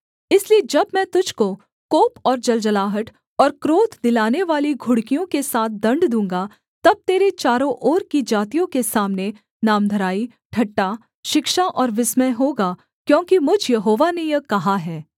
इसलिए जब मैं तुझको कोप और जलजलाहट और क्रोध दिलानेवाली घुड़कियों के साथ दण्ड दूँगा तब तेरे चारों ओर की जातियों के सामने नामधराई ठट्ठा शिक्षा और विस्मय होगा क्योंकि मुझ यहोवा ने यह कहा है